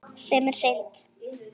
Sem er synd.